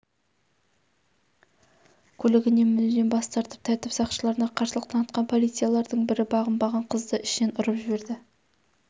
көлігіне мінуден бас тартып тәртіп сақшыларына қарсылық танытқан полициялардың бірі бағынбаған қызды ішінен ұрып жіберді